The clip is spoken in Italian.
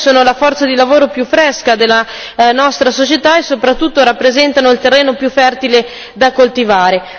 I giovani sono la forza di lavoro più fresca della nostra società e soprattutto rappresentano il terreno più fertile da coltivare.